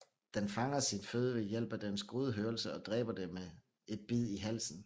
Den fanger sin føde ved hjælp af dens gode hørelse og dræber det med et bid i halsen